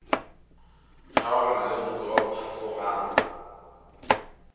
kgaogana le motse wa phafogang